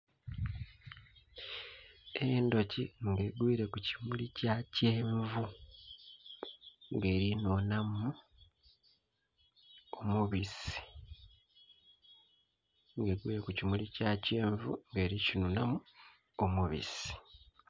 Endhuki nga egwile ku kimuli kya kyenvu ng'eri nhunhamu omubisi. Ng'egwile ku kimuli kya kyenvu ng'eri kinhunhamu omubisi.